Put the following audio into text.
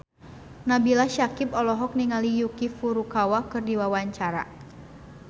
Nabila Syakieb olohok ningali Yuki Furukawa keur diwawancara